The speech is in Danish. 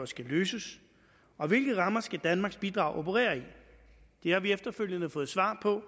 skal løses og hvilke rammer danmarks bidrag skal operere i det har vi efterfølgende fået svar på